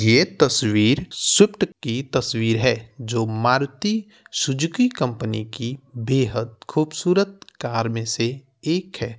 ये तस्वीर स्विफ्ट की तस्वीर है जो मारुती सुजुकी कंपनी की बेहद खूबसूरत कार में से एक है।